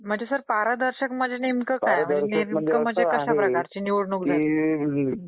म्हणजे सर पारदर्शक म्हणजे नेमकं काय? म्हणजे नेमकं कश्या प्रकारची?